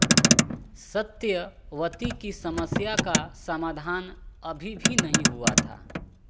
सत्यवती की समस्या का समाधान अभी भी नहीं हुआ था